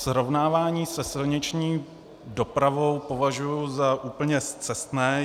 Srovnávání se silniční dopravou považuji za úplně scestné.